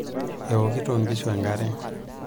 Eokito nkishu enkare.